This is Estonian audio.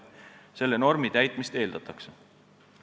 Selle normi täitmist eeldatakse.